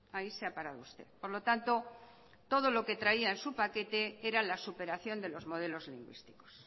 ahí se ha parado usted por lo tanto todo lo que traía en su paquete era la superación de los modelos lingüísticos